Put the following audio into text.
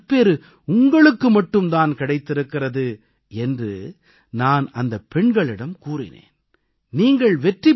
இது போன்றதொரு நற்பேறு உங்களுக்கு மட்டும் தான் கிடைத்திருக்கிறது என்று நான் அந்தப் பெண்களிடம் கூறினேன்